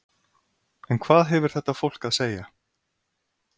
En hvað hefur þetta fólk að segja?